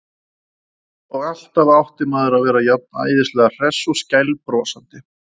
Og alltaf átti maður að vera jafn æðislega hress og skælbrosandi.